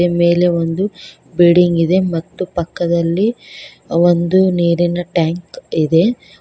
ಮೇಲೆ ಒಂದು ಬಿಲ್ಡಿಂಗ್ ಇದೆ ಮತ್ತು ಪಕ್ಕದಲ್ಲಿ ಒಂದು ನೀರಿನ ಟ್ಯಾಂಕ್ ಇದೆ.